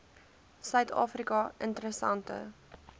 suid afrika interessante